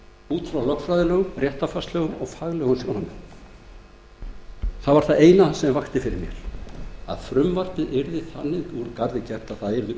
út frá lögfræðilegum réttarfarslegum og faglegum sjónarmiðum það eina sem vakti fyrir mér var að frumvarpið yrði þannig úr garði gert að það yrði öruggt í